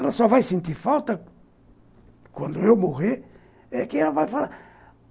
Ela só vai sentir falta, quando eu morrer, é que ela vai falar.